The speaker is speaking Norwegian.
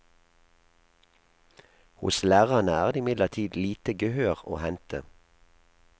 Hos lærerne er det imidlertid lite gehør å hente.